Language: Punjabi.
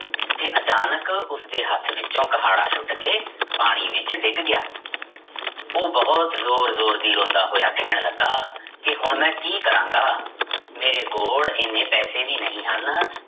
ਕਿ ਅਚਾਨਕ ਉਸਦੇ ਹੱਥ ਵਿੱਚੋਂ ਕੁਹਾੜਾ ਸੁੱਟ ਕੇ ਪਾਣੀ ਵਿੱਚ ਡਿੱਗ ਗਿਆ ਉਹ ਬਹੁਤ ਜ਼ੋਰ ਜ਼ੋਰ ਦੀ ਰੋਂਦਾ ਹੋਇਆ ਕਹਿਣ ਲੱਗਾ, ਕਿ ਹੁਣ ਮੈਂ ਕੀ ਕਰਾਂਗਾ ਮੇਰੇ ਕੋਲ ਇੰਨੇ ਪੈਸੇ ਵੀ ਨਹੀਂ ਹਨ